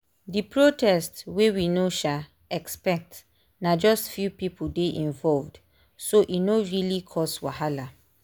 the protest wey we no um expect na just few people dey involved so e no really cause wahala.